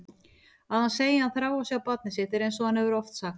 Að hann segi að hann þrái að sjá barnið sitt einsog hann hefur oft sagt.